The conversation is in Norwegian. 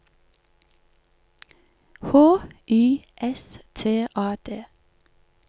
H Y S T A D